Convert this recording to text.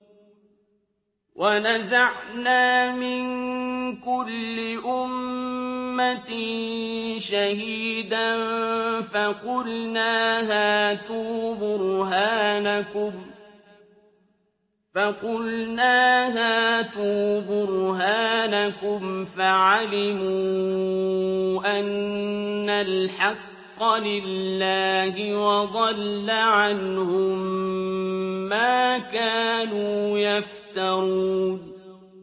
وَنَزَعْنَا مِن كُلِّ أُمَّةٍ شَهِيدًا فَقُلْنَا هَاتُوا بُرْهَانَكُمْ فَعَلِمُوا أَنَّ الْحَقَّ لِلَّهِ وَضَلَّ عَنْهُم مَّا كَانُوا يَفْتَرُونَ